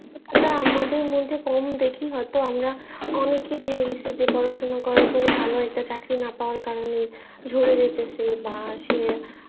আমাদের মধ্যে কম দেখি হয়তো আমরা অনেক দেখেছি পড়াশোনা করার পর ও ভাল চাকুরি না পাওয়ার কারনে ঝরে যায়তেছে বা সে